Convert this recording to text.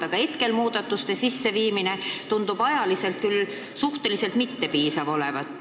Aga hetkel tundub muudatuste sisseviimiseks aeg küll suhteliselt mittepiisav olevat.